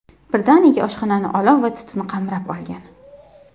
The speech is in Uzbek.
Birdaniga oshxonani olov va tutun qamrab olgan.